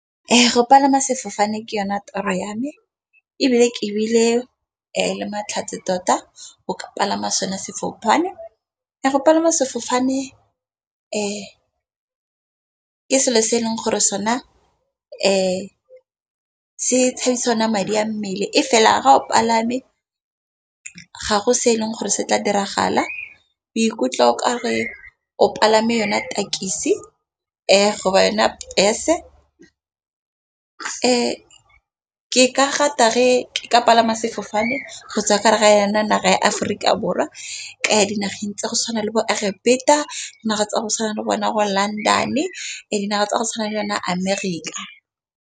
Go palama sefofane ke yone toro ya me ebile ke bile le matlhatsi tota, go ka palama sone sefofane. Go palama sefofane ke selo se e leng gore sona se tshabisa ona madi a mmele e fela ga o palame ga go se e leng gore se tla diragala. O ikutlwa e ka re o palame yona tekisi yona bese. Ke ka rata re ka palama sefofane go naga ya Aforika Borwa. Ka ya dinageng tsa go tshwana le bo Egepeta naga tsa go tshwana le bona go London e dinaga tsa go tshwana le yona Amerika.